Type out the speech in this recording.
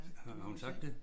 Har hun sagt det?